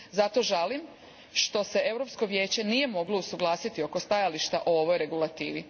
Zato žalim što se Europsko vijeće nije moglo usuglasiti oko stajališta o ovoj regulativi.